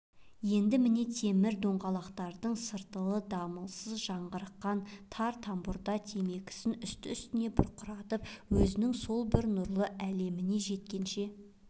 енді міне темір доңғалақтардың сартылы дамылсыз жаңғырыққан тар тамбурда темекісін үсті-үстіне бұрқыратып өзінің сол бір нұрлы әлеміне жеткенше